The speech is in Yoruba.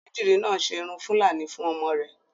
Onídìrí náà ṣe irun fúlàní fún ọmọ rẹ̀